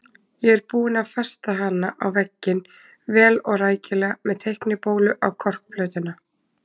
Ég er búinn að festa hana á vegginn, vel og rækilega með teiknibólu í korkplötuna.